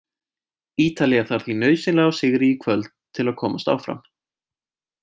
Ítalía þarf því nauðsynlega á sigri í kvöld til að geta komist áfram.